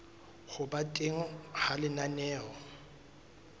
ho ba teng ha lenaneo